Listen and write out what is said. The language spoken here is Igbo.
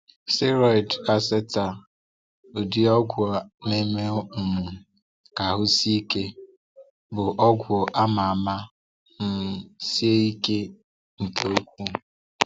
Steroid Acetate (ụdị ọgwụ na-eme um ka ahụ sie ike) bụ ọgwụ a ma ama ma um sie ike nke ukwuu.